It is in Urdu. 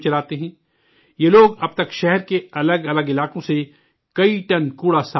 یہ لوگ اب تک شہر کے الگ الگ علاقوں سے کئی ٹن کوڑا صاف کر چکے ہیں